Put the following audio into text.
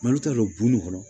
t'a dɔn bu ni kɔnɔ